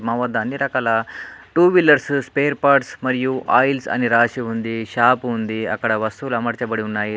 మా వద్ద అన్ని రకాల టూ వీలర్స్ స్పేర్ పార్ట్స్ మరియు ఆయిల్స్ అని రాసి ఉంది. షాప్ ఉంది. అక్కడ వస్తువులు అమర్చబడి ఉన్నాయి.